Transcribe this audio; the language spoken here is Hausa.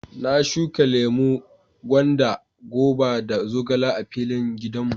Na shuka lemu, gwanda, goba da zogale a filin gidan mu.